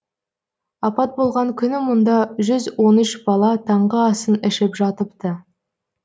апат болған күні мұнда жүз он үш бала таңғы асын ішіп жатыпты